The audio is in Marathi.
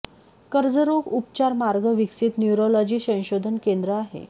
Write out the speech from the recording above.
कर्ज रोग उपचार मार्ग विकसित न्युरॉलॉजी संशोधन केंद्र आहे